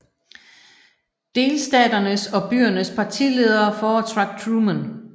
Delstaternes og byernes partiledere foretrak Truman